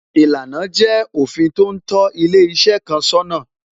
Ìlànà jẹ́ òfin tó ń tó ilé iṣẹ́ kan sọ́nà